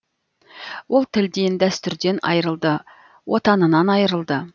ол тілден дәстүрден айырылды отанынан айырылды